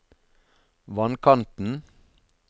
vannkanten